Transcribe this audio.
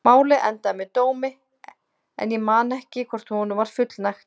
Málið endaði með dómi en ég man ekki hvort honum var fullnægt.